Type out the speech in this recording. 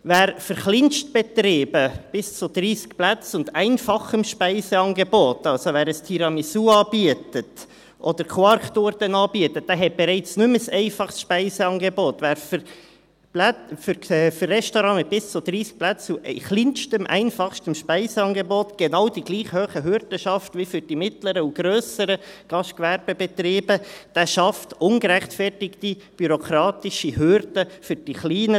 Wer für Kleinstbetriebe bis zu 30 Plätzen und einfachem Speiseangebot – also: wer ein Tiramisu oder Quarktorten anbietet, hat bereits nicht mehr ein einfaches Speiseangebot –, wer für Restaurants bis zu 30 Plätzen und mit kleinstem, einfachstem Speiseangebot genau die gleich hohen Hürden schafft wie für mittlere und grössere Gastgewerbebetriebe, schafft ungerechtfertigte bürokratische Hürden für die kleinen.